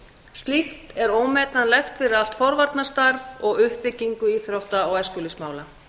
slíkt er ómetanlegt fyrir allt forvarnastarf og uppbyggingu íþrótta og æskulýðsmála